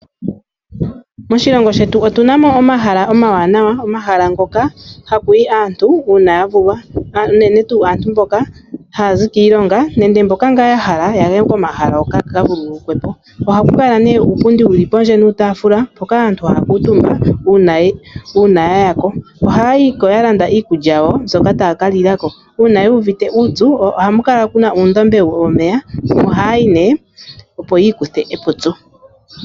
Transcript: Moshilongo shetu otuna mo omahala omawanawa omahala ngoka hakuyi aantu uuna ya vulwa unene tuu aantu mboka haya zi kiilonga nenge mboka ngaa ya hala yaye komahala hoka yaka vululukwepo. Ohaku kala ne uupundi wuli pondje nuutafula mpoka aantu haya kuuntumba uuna yayako. Ohaya yiko ya landa iikulya yawo mbyoka taya ka lilako uuna yu uvite uupyu ohamu kala kuna uundombe womeya omo hayayi nee opo yikuthe epupyu.